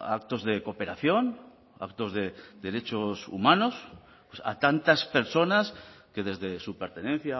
actos de cooperación actos de derechos humanos a tantas personas que desde su pertenencia